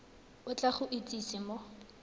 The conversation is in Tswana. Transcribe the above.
o tla go itsise mo